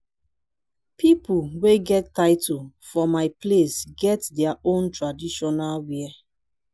pipo wey get title for my place get their own traditional wear.